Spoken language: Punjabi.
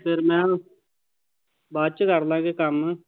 ਫਿਰ ਮੈਂ ਬਾਅਦ ਚ ਕਰਲਾਂਗੇ ਕੰਮ।